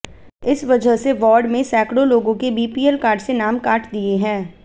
इस वजह से वार्ड में सैकड़ों लोगों के बीपीएल कार्ड से नाम काट दिए हैं